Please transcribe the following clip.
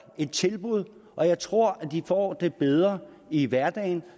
et tilbud og jeg tror at de får det bedre i hverdagen